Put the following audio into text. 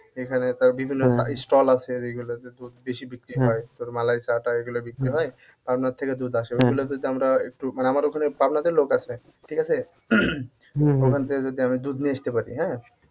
এখানে তার বিভিন্ন stall আছে আর এগুলতে দুধ বেশি বিক্রি হয়, তোর মালাইচা টা এগুলো বিক্রি হয় পাবনার থেকে দুধ আসে আমরা একটু মানে আমার ওখানে পাবনাতে লোক আছে ঠিক আছে? ওখান থেকে যদি আমি দুধ নিয়ে আসতে পারি হ্যাঁ?